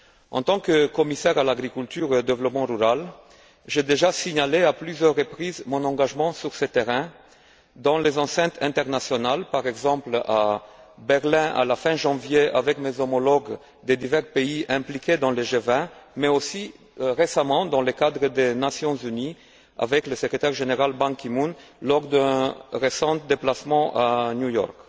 En tant que commissaire à l'agriculture et au développement rural, j'ai déjà signalé à plusieurs reprises mon engagement sur ce terrain, dans les enceintes internationales, par exemple à Berlin, à la fin janvier, avec mes homologues des divers pays impliqués dans le G20, mais aussi récemment, dans le cadre des Nations unies, avec le secrétaire général Ban Ki moon, lors d'un récent déplacement à New York.